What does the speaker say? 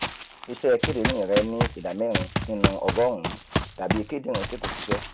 iṣẹ́ kidinrin rẹ ní ìdá mẹ́rin nínú ọgọ́rùn-ún dàbí kidinrin tí kò ṣiṣẹ́